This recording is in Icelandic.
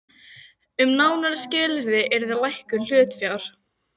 Gerði verði gert kleift að stunda fyrirhugað nám.